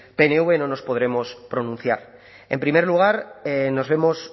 pnv no nos podemos pronunciar en primer lugar nos vemos